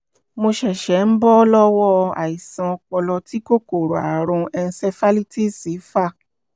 mo ṣẹ̀ṣẹ̀ ń bọ́ lọ́wọ́ àìsàn ọpọlọ tí kòkòrò àrùn encephalitis fà